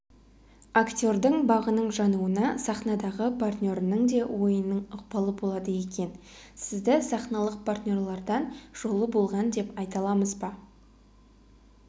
актердің бағының жануына сахнадағы партнерінің де ойынының ықпалы болады екен сізді сахналық партнерлерден жолы болған деп айта аламыз ба